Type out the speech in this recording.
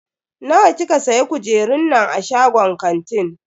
Nawa kika siya kujerun nan a shagon kantin?